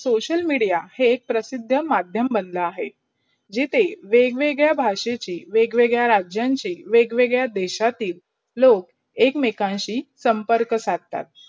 social media ही प्रशिद्धा मधयम बनला आहे. जिथे वेग-वेग्द भाषेची, वेग-वेग्द राजांची, वेग-वेग्द देशातील लोक एक मेकांची संपर्क सडतात.